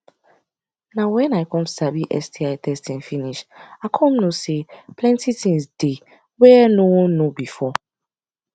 na when i come sabi sti testing finish i come know say plenty things dey where no know before